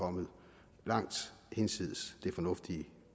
kommet langt hinsides det fornuftige